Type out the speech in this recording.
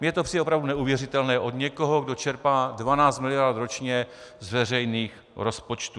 Mně to přijde opravdu neuvěřitelné od někoho, kdo čerpá 12 miliard ročně z veřejných rozpočtů.